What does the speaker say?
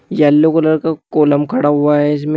Yellow colour का column खड़ा हुआ है इसमें।